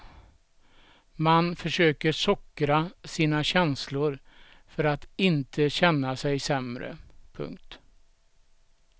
Man försöker sockra sina känslor för att inte känna sig sämre. punkt